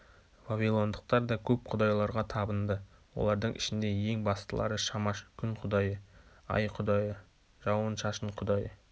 вавилондықтар да көп құдайларға табынды олардың ішінде ең бастылары шамаш күн құдайы ай құдайы жауын-шашын кұдайы